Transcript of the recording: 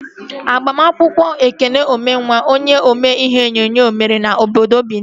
Agbamakwụkwọ Ekene Ụmenwa, onye omee ihe onyonyo ahụ, mere n'obodo Binin